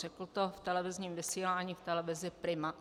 Řekl to v televizním vysílání v televizi Prima.